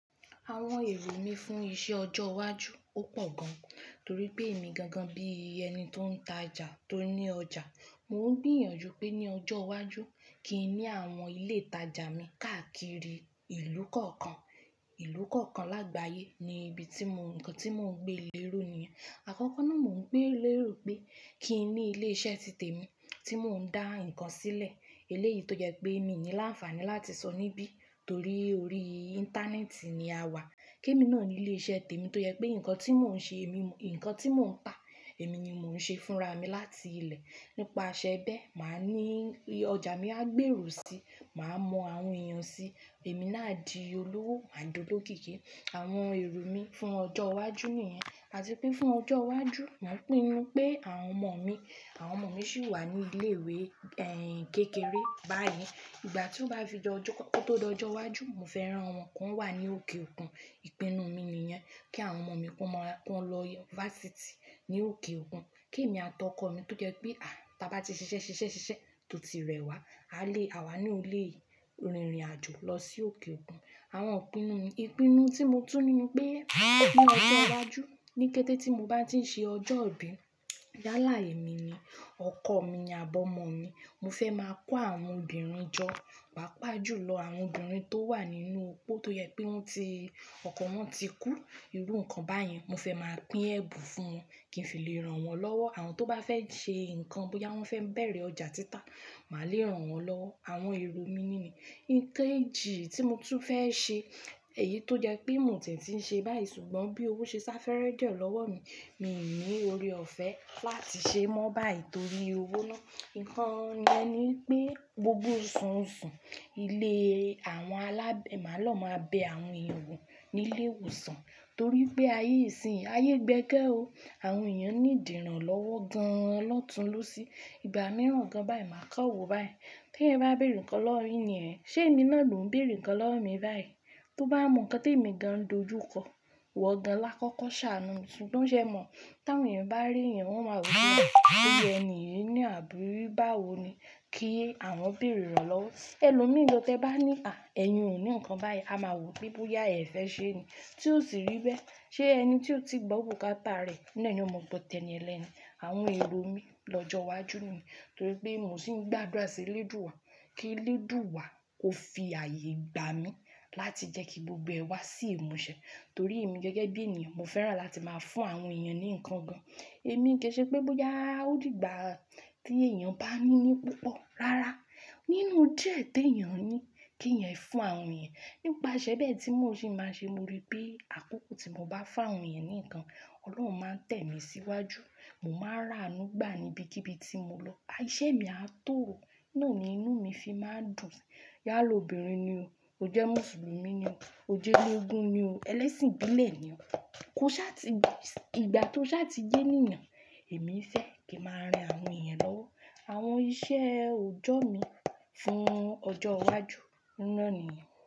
Àwọn èrò mi fún iṣẹ́ ọjọ́ iwájú ó pọ̀ gan, torí pé èmi gangan bí ẹni tó ń tajà tó ní ọjà, mò ń gbìyànjú pé ní ọjọ́ iwájú kí n ní àwọn ilé ìtajà mi káàkiri ìlú kọ̀ọ̀kan. Ìlú kọ̀ọ̀kan lágbàyé ni ibi tí mò ń, nǹkan tí mò ń gbé lérú nìyẹn. Àkọ́kọ́ náà mò ń gbé lérú pé kí n ní ilé iṣẹ́ títè mi tí mò ń dá nǹkan sílẹ̀. Eléyìí tó jẹ́ pé mi ò ní láǹfààní láti sọ níbí torí orí íńtánẹ́ẹ̀tì ni a wà. Kí emi náà ní ilé iṣẹ́ tèmi tó jẹ́ pé nǹkan tí mò ń ṣe èmi, nǹkan tí mò ń tà èmi ni mò ń ṣe fúnra mi láti ilẹ̀. Nípa aṣẹ́ bẹ́ẹ́, màá ní, ọjà mi á gbèrú síi, màá mọ àwọn èèyàn síí, èmi náà di olówó ma dolokiki. Àwọn èrò mi fún ọjọ́ iwájú nìyẹn. Àti pé fún ọjọ́ iwájú, mò ń pinnu pé àwọn ọmọ mi, àwọn ọmọ mi sì wà ní ilé ìwé, ẹ́ ẹ̀yin kékeré báyìí. Ìgbà tí ó bá fi di jọ, ko to dọjọ́ iwájú, mo fẹ́ rán wọn kó wà ní òkè òkun. Ìpinnu mi nìyẹn. Kí àwọn ọmọ mi, kó mọ, kó lọ University ní òkè òkun. Kí èmi àtọkọ̀ mi tó jẹ́ pé à, bá bá ti ṣiṣẹ́ ṣiṣẹ́ ṣiṣẹ́ tò ti rẹwà, a lè, àwa ní a lè rìnrìn àjò lọ sí òkè òkun. Àwọn ìpinnu mi, ìpinnu tí mo tún ní ni pé ní ọjọ́ iwájú, ní kété tí mo bá ti ń ṣe ọjọ́ ìbí, yálà ẹ mi ni, ọkọ mi àbi ọmọ mi, mo fẹ́ máa kó àwọn obìnrin jọ, pàápàá jùlọ àwọn obìnrin tó wà nínú ópó tó jẹ́ pé wọ́n ti, ọkọ wọn ti kú, irú nǹkan báyẹn. Mo fẹ́ máa pín ẹ̀bùn fún wọn, kí n fi lè rán wọn lọ́wọ́. Àwọn tó bá fẹ́ ṣe nǹkan, bóyá wọ́n fẹ́ bẹ̀rẹ̀ ọjà títà, màá lè rán wọn lọ. Àwọn èrò mi nìní. Ikeji tí mo tún fẹ́ ṣe, èyí tó jẹ́ pé mò ń tìń ṣe báyìí ṣùgbọ́n bí owó ṣe sá fẹ́rẹ́ die lọ́wọ́ mi, mi ò ní ore ọ̀fẹ́ láti ṣe mọ́ báyìí torí owó ná. Ǹkan yen ni pé gbogbo osuosu, ilé àwọn alábẹ́ mà lọ máa bẹ àwọn èèyàn wò nílé ìwòsàn torí pé ayé ìsinyìí, ayé gbẹ́gẹ́ o. Àwọn èèyàn need iràn lọ́wọ́ gan an lọ́tunlọ́sí. Ìgbà mìíràn gan báyìí máa kọ́wó báyìí. Tíeeyan bá béèrè ǹkan lowo mi ini e, ṣé èmi náà ò lo ń béèrè ǹkan lowo mi báyìí? Tó bá mọ nǹkan tí èmi gan dojúkọ, iwọ́ gan lákọ́kọ́ ṣàánú mi ṣùgbọ́n ṣé ẹ mọ̀? Tí àwọn èèyàn bá rí èèyàn, wọ́n máa wò ó mọ̀, pé ènìyí ní àbí báwo ni kí àwọn béèrè rán lọ́wọ́? Ẹlòmíì lọ, tí ẹ bá ní à, ẹ̀yin ò ní nǹkan báyìí, a máa wò ó pé bóyá ẹ̀ fẹ́ ṣé ni. Tí ó sì rí bẹ́ẹ́, ṣé ẹni tí ó ti gbọ́ òkú kátà rẹ̀, iná ni ó mọ́ pọ tẹ́ni ẹlẹ́ni. Àwọn èrò mi lọ́jọ́ iwájú nìyẹn. Torí pé mò ń sì ń gbàdúrà sí Lẹ́dùwà kí Lẹ́dùwà ó fi ààyè gbà mí láti jẹ́ kí gbogbo ẹ wá sí ìmúṣẹ torí èmi gẹ́gẹ́ bí ènìyàn, mo fẹ́ràn láti máa fún àwọn èèyàn ní nǹkan gan. Èmi kí ṣe pé bóyá ó dìgbà tí èèyàn bá mí ní púpọ̀, rárá. Nínú díẹ̀ tí èèyàn ní, kí èèyàn fún àwọn èèyàn. Nípa aṣẹ́ bẹ́ẹ̀ tí mò ń sì máa ń ṣe, mo rí pé àkókò tí mo bá fá àwọn èèyàn ní nǹkan, Ọlọ́run máa tẹ̀ mí síwájú. Mo máa ra àánú gbà ní ibi kíbi tí mo lọ. Iṣẹ́ mi a tó o. Nà ní inú mi fi máa ń dùn. Ìyálọ́bìnrin ni o. Ó jẹ́ Mùsùlùmí ni o. Ó jẹ́ onígun ni o. Elẹ́sìn gbílé ni o. Ko sá ti gba, ìgbà tó sá ti jẹ́ nínà, èmi fẹ́ kí màá rin àwọn èèyàn lọ́wọ́. Àwọn iṣẹ́ òjọ́ mi fún ọjọ́ iwájú náà nìyẹn.